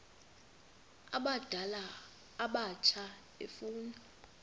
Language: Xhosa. abadala abatsha efuna